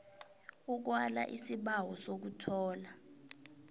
ukwala isibawo sokuthola